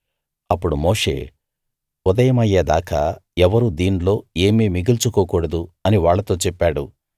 అప్పుడు మోషే ఉదయమయ్యే దాకా ఎవ్వరూ దీన్లో ఏమీ మిగుల్చుకోకూడదు అని వాళ్ళతో చెప్పాడు